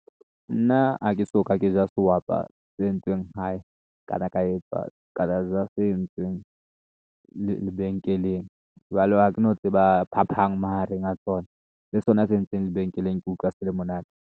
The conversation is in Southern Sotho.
Nna ha ke soka ke ja sehwapa se entsweng hae kana, ka ja se entsweng lebenkeleng. Jwale ha ke no tseba phapang mahareng a tsona, le sona se entsweng lebenkeleng ke utlwa se le monate.